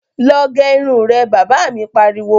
Lọ gẹ irun rẹ', Bàbá mi pariwo